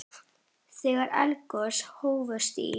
Þegar eldgos hófust í